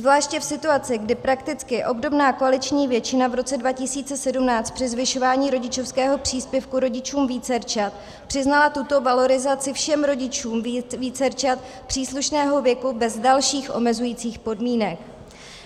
Zvláště v situaci, kdy prakticky obdobná koaliční většina v roce 2017 při zvyšování rodičovského příspěvku rodičům vícerčat přiznala tuto valorizaci všem rodičům vícerčat příslušného věku bez dalších omezujících podmínek,